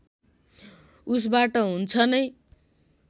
उसबाट हुन्छ नै